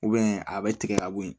a bɛ tigɛ ka bɔ yen